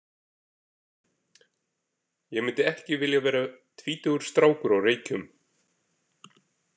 Ég myndi ekki vilja vera tvítugur strákur á Reykjum.